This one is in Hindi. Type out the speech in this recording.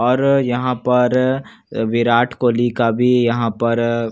और यहाँ पर विराट कोहली का भी यहाँ पर चित्र दिख --